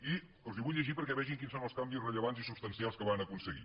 i els ho vull llegir perquè vegin quins són els canvis rellevants i substancials que van aconseguir